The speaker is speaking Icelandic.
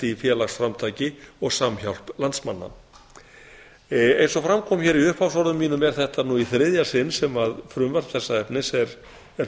í félagsframtaki og samhjálp landsmanna eins og fram kom í upphafsorðum mínum er þetta nú í þriðja sinn sem frumvarp þessa efnis er